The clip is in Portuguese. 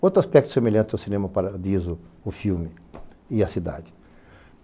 Outro aspecto semelhante ao Cinema Paradiso, o filme e a cidade.